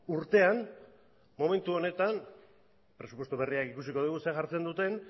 urtean momentu honetan presupuesto berriak ikusiko dugu zer jartzen duten